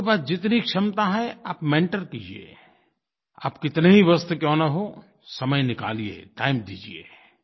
आपके पास जितनी क्षमता है आप मेंटर कीजिए आप कितने ही व्यस्त क्यों न हों समय निकालिए टाइम दीजिए